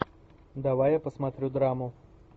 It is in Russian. давай я посмотрю драму